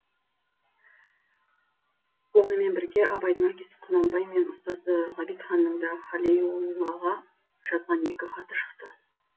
онымен бірге абайдың әкесі құнанбай мен ұстазы ғабитханның да халиуллаға жазған екі хаты шықты